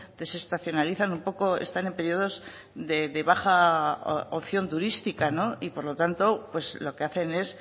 desestacionalizan un poco están en periodos de baja opción turística y por lo tanto lo que hacen es